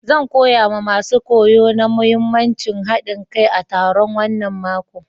Zan koya ma masun koyo na muhimmancin haɗin kai a taro wanan mako.